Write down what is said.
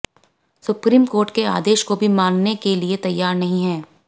supreme court के आदेश को भी मानने के लिए तैयार नही है